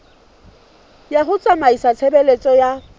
ya ho tsamaisa tshebeletso ya